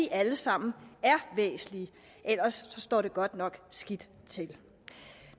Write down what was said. alle sammen er væsentlige ellers står det godt nok skidt til